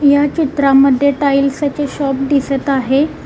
या चित्रामध्ये टाइल्स चे शॉप दिसत आहे.